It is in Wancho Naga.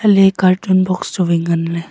le carton box chu wai ngan le.